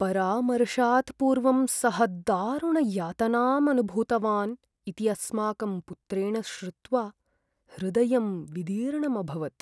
परामर्शात् पूर्वं सः दारुणयातनाम् अनुभूतवान् इति अस्माकं पुत्रेण श्रुत्वा हृदयं विदीर्णम् अभवत्।